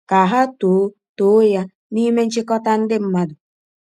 Ka ha too too ya n’ime nchikọta ndị mmadụ.